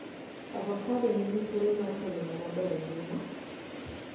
avocado nigi thuolo mar kelo moo maber e ngima